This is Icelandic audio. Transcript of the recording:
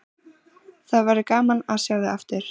Það verður gaman að sjá þig aftur.